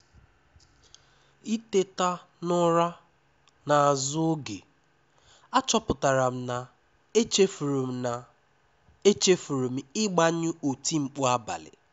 Ìtèta n’ụra n’azụ oge, àchọpụtara m na echefuru m na echefuru m ịgbanyụ otimkpu abalị.